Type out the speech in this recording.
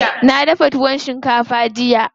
Na dafa tuwon shinkafa jiya.